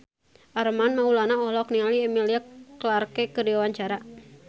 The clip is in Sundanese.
Armand Maulana olohok ningali Emilia Clarke keur diwawancara